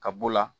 Ka b'o la